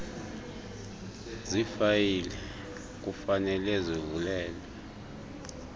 zifayile kufanele zivulelwe